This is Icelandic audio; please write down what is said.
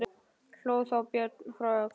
Hló þá Björn frá Öxl.